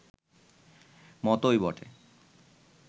মতোই বটে